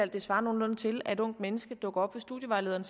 det svarer nogenlunde til at et ungt menneske dukker op hos studievejlederen